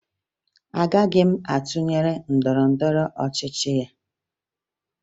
Agaghị m atụnyere otu ndọrọndọrọ ọchịchị ya